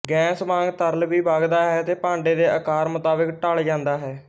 gas ਵਾਂਗ ਤਰਲ ਵੀ ਵਗਦਾ ਹੈ ਅਤੇ ਭਾਂਡੇ ਦੇ ਅਕਾਰ ਮੁਤਾਬਕ ਢਲ਼ ਜਾਂਦਾ ਹੈ